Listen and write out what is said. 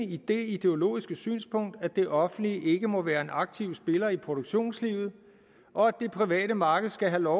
i det ideologiske synspunkt at det offentlige ikke må være en aktiv spiller i produktionslivet og at det private marked skal have lov